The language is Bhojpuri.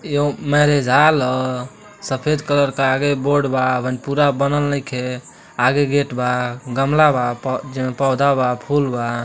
यह मेरीज हाल हसफेद कलर का आगे बोर्ड बाअबहिं पूरा बनल नइखे आगे गेट बा गमला बा पो- पोधा बा फुल बा।